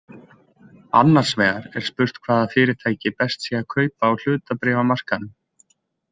Annars vegar er spurt hvaða fyrirtæki best sé að kaupa á hlutabréfamarkaðinum.